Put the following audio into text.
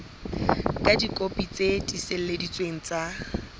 ka dikopi tse tiiseleditsweng tsa